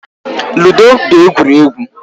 Ludo bụ egwuregwu.